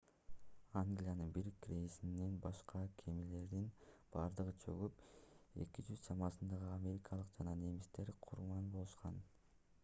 англиянын бир крейсеринен башка кемелердин бардыгы чөгүп 200 чамасындагы америкалык жана немистер курман болушкан